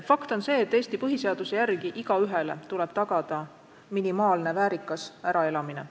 Fakt on see, et Eesti põhiseaduse järgi tuleb igaühele tagada minimaalne väärikas äraelamine.